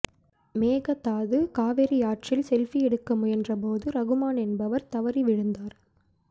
மேகதாது காவிரியாற்றில் செல்பி எடுக்க முயன்றபோது ரகுமான் என்பவர் தவறி விழுந்தார்